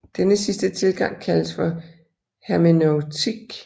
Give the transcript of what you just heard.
Denne sidste tilgang kaldes for hermeneutik